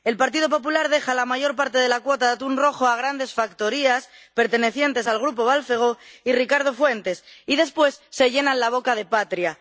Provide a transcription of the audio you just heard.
El Partido Popular deja la mayor parte de la cuota de atún rojo a grandes factorías pertenecientes al grupo Balfegó y Ricardo Fuentes y, después, se llenan la boca de patria.